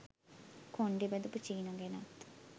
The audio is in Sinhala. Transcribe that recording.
කොණ්ඩෙ බැඳපු චීනා ගැනත්